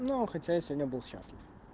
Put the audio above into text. но хотя я сегодня был счастлив